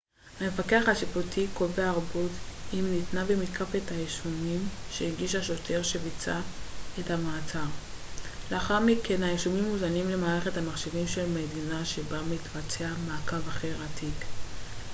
המפקח השיפוטי קובע ערבות אם ניתנה ומתקף את האישומים שהגיש השוטר שביצע את המעצר לאחר מכן האישומים מוזנים למערכת המחשבים של המדינה שבה מתבצע מעקב אחר התיק